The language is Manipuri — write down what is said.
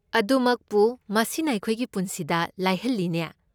ꯑꯗꯨꯃꯛꯄꯨ, ꯃꯁꯤꯅ ꯑꯩꯈꯣꯏꯒꯤ ꯄꯨꯟꯁꯤꯕꯨ ꯂꯥꯏꯍꯜꯂꯤꯅꯦ꯫